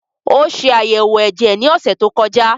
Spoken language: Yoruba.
Ó ṣe àyẹ̀wò ẹ̀jẹ̀ ní ọ̀sẹ̀ tó kọjá